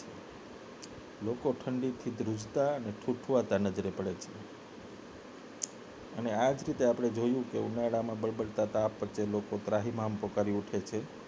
લોકો ઠંડીથી ધ્રુજતા અને ઠૂઠવતા નજરે પડે છે અને આ જ રીતે આપને જોયુંકે ઉનાળામાં બળબળતા તાપમાન વચ્ચે લોકો ત્રાહિમામ પુકારી ઉઠે છે